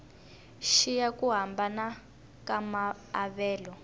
xiya ku hambana ka maavelo